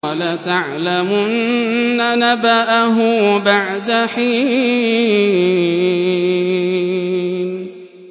وَلَتَعْلَمُنَّ نَبَأَهُ بَعْدَ حِينٍ